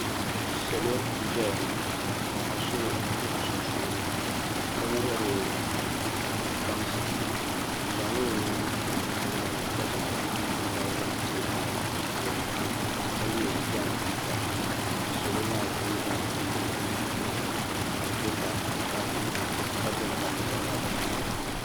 Salo n-ʒeya ŋɔ ka so be bɛ sunsuuni ka wuhiri baŋsim o zaŋla o nuu n-dihi tiŋgbani ni ka zaŋ nuu dimbala maa n-teei bahi tooni ha ka ye Ghana tuuta ka salo maa kuli nyɛ ban kuli niŋ nimmɔhi n-lihiri o ka bɛ be paaki ni paaki ka be mɔri ni mɔri maa kama nyɛla zaɣ' vokahili